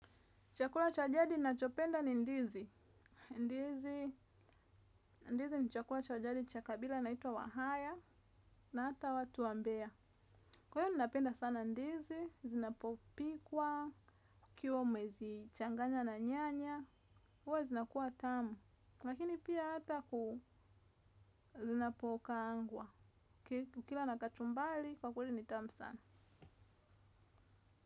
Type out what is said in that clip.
Chakula cha jadi nachopenda ni ndizi. Ndizi ni chakula cha jadi cha kabila naitwa wahaya na hata watu wa mbea. Kwa hiyo ninapenda sana ndizi zinapopikwa kiwa umezi changanya na nyanya huwa zinakuwa tamu lakini pia hata ku zinapo kaangwa. Kila na kachumbari kwa kweli ni tamu sana.